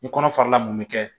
Ni kɔnɔ farala mun bɛ kɛ